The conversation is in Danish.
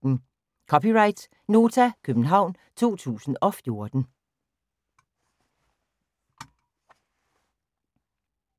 (c) Nota, København 2014